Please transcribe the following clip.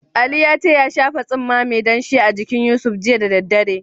Ali ya ce ya shafa tsumma mai danshi a jinkin Yusuf, jiya da daddare.